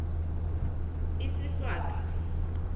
isiswati